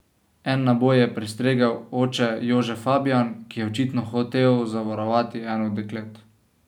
En naboj je prestregel oče Jože Fabijan, ki je očitno hotel zavarovati eno od deklet.